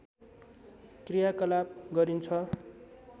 क्रियाकलाप गरिन्छ